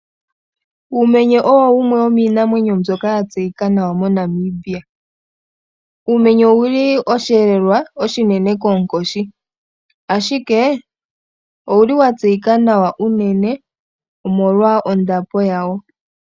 Uumenye owo wumwe womiinamwenyo mbyoka ya tseyika nawa moNamibia. Uumenye owu li oshiyelewa oshinene koonkoshi, ashike owu libwa tseyika nawa unene omolwa ondapo yawo.